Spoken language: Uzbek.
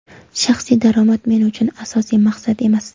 Shaxsiy daromad men uchun asosiy maqsad emas.